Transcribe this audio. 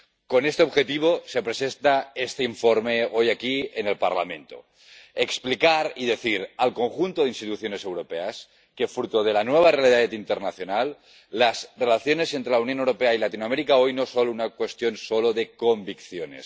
Con este objetivo se presenta este informe hoy aquí en el Parlamento explicar y decir al conjunto de instituciones europeas que, fruto de la nueva realidad internacional, las relaciones entre la Unión Europea y Latinoamérica hoy no son solo una cuestión de convicciones.